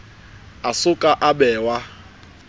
a so ka a bewa